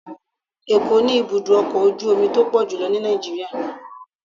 Ẹ̀ko ni ibudọ ọkọ ojú omí to pọjulọ ní Nijiriria